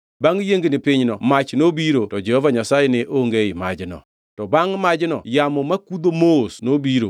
Bangʼ yiengni pinyno mach nobiro, to Jehova Nyasaye ne onge ei majno. To bangʼ majno yamo makudho mos nobiro.